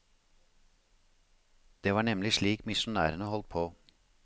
Det var nemlig slik misjonærene holdt på.